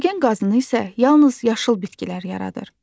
Oksigen qazını isə yalnız yaşıl bitkilər yaradır.